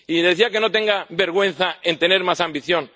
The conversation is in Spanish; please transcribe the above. Y me decía que no tenga vergüenza en tener más ambición.